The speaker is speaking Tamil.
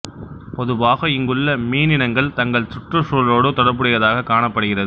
பொதுவாக இங்குள்ள மீனினங்கள் தங்கள் சுற்றுச் சூழலோடு தொடர்புடையதாகக் காணப் படுகிறது